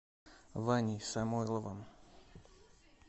ваней самойловым